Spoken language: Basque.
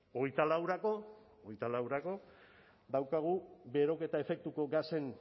hogeita laurako daukagu beroketa efektuko gasen